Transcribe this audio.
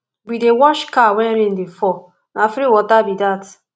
we dey wash car wen rain dey fall na free water be dat